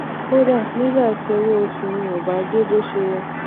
kódà nígbà tí owó oṣù mi ò bá dé bó ṣe yẹ